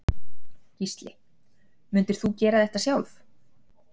Gísli: Myndir þú gera þetta sjálf?